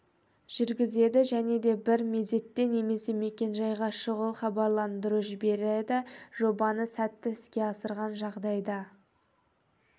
жүргізеді және де бір мезетте немесе мекенжайға шұғыл хабарландыру жібереді жобаны сәтті іске асырған жағдайда